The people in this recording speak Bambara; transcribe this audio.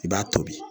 I b'a tobi